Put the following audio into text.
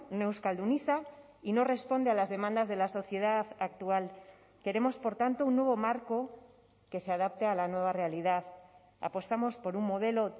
no euskalduniza y no responde a las demandas de la sociedad actual queremos por tanto un nuevo marco que se adapte a la nueva realidad apostamos por un modelo